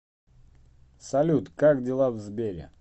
салют как дела в сбере